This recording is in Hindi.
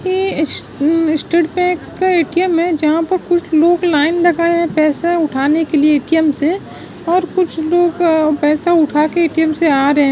ये उम्म स्टेट बैंक का ए.टी.एम. है जहां कुछ लोग लाईन लगाए हैं पैसे उठाने लिए ‌ ए.टी.एम. से और कुछ लोग पैसा उठा के ए.टी.एम. से आ रहे हैं।